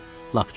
Lap çox.